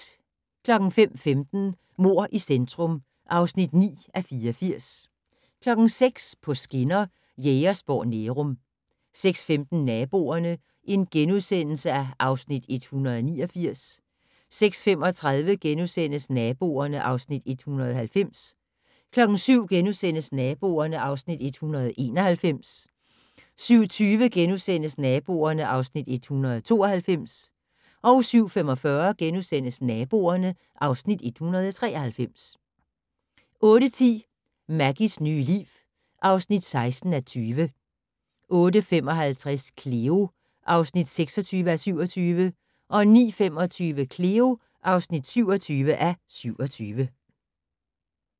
05:15: Mord i centrum (9:84) 06:00: På skinner: Jægersborg-Nærum 06:15: Naboerne (Afs. 189)* 06:35: Naboerne (Afs. 190)* 07:00: Naboerne (Afs. 191)* 07:20: Naboerne (Afs. 192)* 07:45: Naboerne (Afs. 193)* 08:10: Maggies nye liv (16:20) 08:55: Cleo (26:27) 09:25: Cleo (27:27)